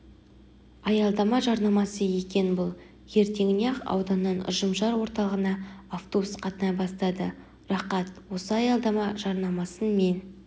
аялдама жарнамасы екен бұл ертеңіне-ақ ауданнан ұжымшар орталығына автобус қатынай бастады рақат осы аялдама жарнамасын мен